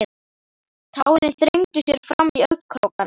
Tárin þrengdu sér fram í augnkrókana.